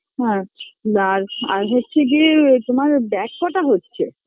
আচ্ছা আর আর হচ্ছে গিয়ে তোমার bag কটা হচ্ছে